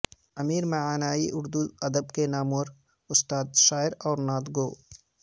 امیر مینائی اردو ادب کے نامور استاد شاعر اور نعت گو